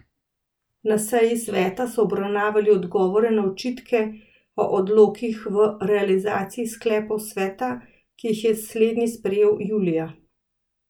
Na seji sveta so obravnavali odgovore na očitke o odklonih v realizaciji sklepov sveta, ki jih je slednji sprejel julija.